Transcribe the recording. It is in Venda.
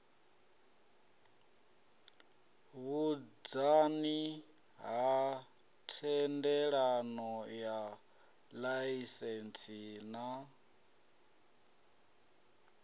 vhunzani ha thendelanoya laisentsi na